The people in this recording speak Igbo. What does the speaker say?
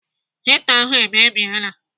Hita ahụ emebiela.